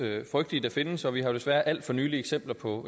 frygtelige der findes og vi har jo desværre alt for nylig eksempler på